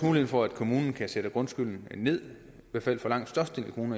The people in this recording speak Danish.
mulighed for at kommunerne kan sætte grundskylden ned i hvert fald langt størstedelen